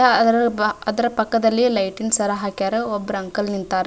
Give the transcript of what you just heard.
ಆಹ್ಹ್ ಅದ್ರ ಪಕ್ಕದಲ್ಲಿ ಲೈಟಿಂಗ್ಸ್ ಯಾರ ಹಾಕ್ಯಾರ ಒಬ್ರ ಅಂಕಲ್ ನಿಂತರ --